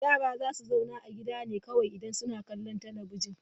Yara za su zauna a gida ne kawai idan suna kallon talabijin.